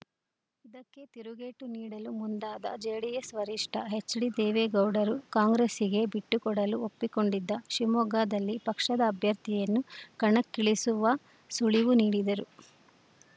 ಇದಕ್ಕೆ ತಿರುಗೇಟು ನೀಡಲು ಮುಂದಾದ ಜೆಡಿಎಸ್‌ ವರಿಷ್ಠ ಎಚ್‌ಡಿದೇವೇಗೌಡರು ಕಾಂಗ್ರೆಸ್ಸಿಗೆ ಬಿಟ್ಟುಕೊಡಲು ಒಪ್ಪಿಕೊಂಡಿದ್ದ ಶಿವಮೊಗ್ಗದಲ್ಲಿ ಪಕ್ಷದ ಅಭ್ಯರ್ಥಿಯನ್ನು ಕಣಕ್ಕಿಳಿಸುವ ಸುಳಿವು ನೀಡಿದರು